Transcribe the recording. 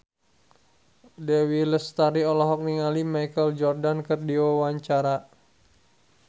Dewi Lestari olohok ningali Michael Jordan keur diwawancara